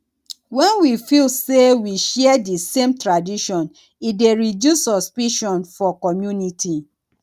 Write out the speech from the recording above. when we feel sey we share di same tradition e dey reduce suspicion for community